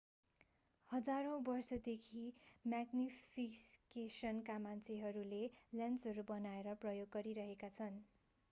हजारौं वर्षदेखि म्याग्निफिकेसनका मान्छेहरूले लेन्सहरू बनाएर प्रयोग गरिरहेका छन्